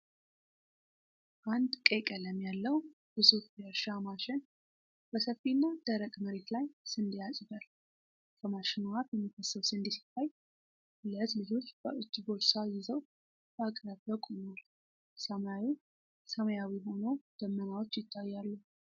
አንድ ቀይ ቀለም ያለው ግዙፍ የእርሻ ማሽን በሰፊና ደረቅ መሬት ላይ ስንዴ ያጭዳል። ከማሽኑ አፍ የሚፈሰው ስንዴ ሲታይ፣ ሁለት ልጆች በእጅ ቦርሳ ይዘው በአቅራቢያው ቆመዋል። ሰማዩ ሰማያዊ ሆኖ ደመናዎች ይተያሉ።